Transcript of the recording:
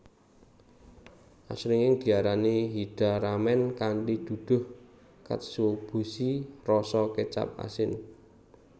Asring diarani hida ramen kanthi duduh katsuobushi rasa kecap asin